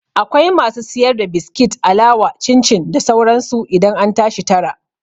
Akwai masu siyar da biskit, alawa, cin cin da sauran su idan an tashi tara